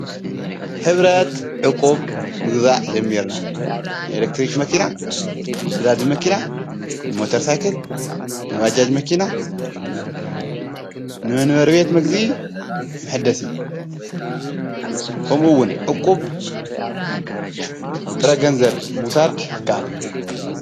ኅብረት ዕቁብ ምግዛእ ጀሚርና ንኤለክትሪክ መኪና ንዳዲ መኪና ንሞተርሳይክል ንባጃጅ መኪና ንምንበርቤት መግዚ ምሕደሲ ከምኡውን ዕቁብ ብጥረገንዘብ ምውሳድ ይከአል::